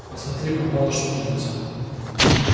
посмотри пропало что-нибудь